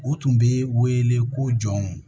U tun bɛ wele ko jɔnw